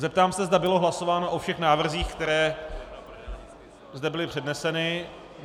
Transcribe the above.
Zeptám se, zda bylo hlasováno o všech návrzích, které zde byly předneseny.